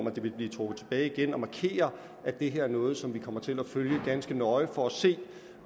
at det vil blive trukket tilbage igen at markere at det her er noget som vi kommer til at følge ganske nøje for at se